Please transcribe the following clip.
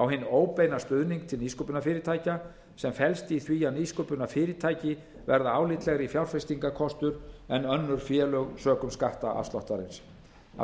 á hinn óbeina stuðning til nýsköpunarfyrirtækja sem felst í því að nýsköpunarfyrirtæki verða álitlegri fjárfestingarkostur en önnur félög sökum skattafsláttarins af